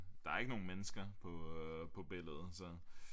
Der er ikke nogen mennesker på billedet så